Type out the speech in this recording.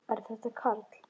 Er þetta Karl?